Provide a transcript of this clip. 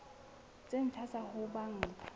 tse ntjha tsa ho banka